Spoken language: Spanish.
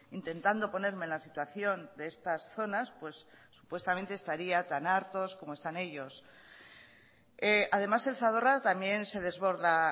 intentando ponerme en la situación de estas zonas pues supuestamente estaría tan hartos como están ellos además el zadorra también se desborda